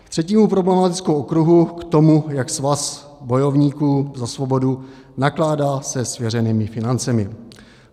K třetímu problematickému okruhu, k tomu, jak Svaz bojovníků za svobodu nakládá se svěřenými financemi.